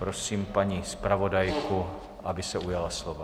Prosím paní zpravodajku, aby se ujala slova.